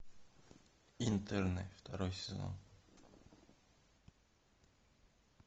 интерны второй сезон